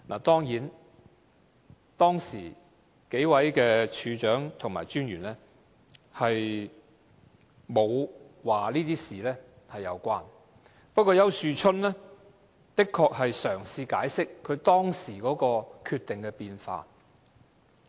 當然，當時數位處長和專員沒有說這些事情有關連，不過，丘樹春的確嘗試解釋他當時決定的變化。